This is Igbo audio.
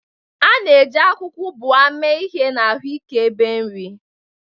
A na-eji akwụkwọ ubwa mee ihe na ahụike ebe nri.